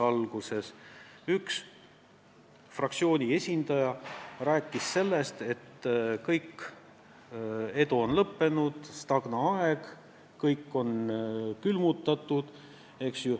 Alguses rääkis ühe fraktsiooni esindaja sellest, et edul on lõpp, meil on stagnaaeg, kõik on külmutatud.